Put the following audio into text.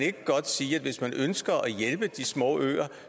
ikke godt sige at hvis man ønsker at hjælpe de små øer